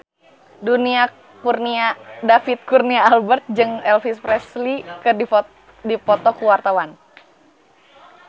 David Kurnia Albert jeung Elvis Presley keur dipoto ku wartawan